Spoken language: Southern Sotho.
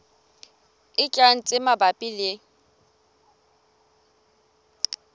e tlang tse mabapi le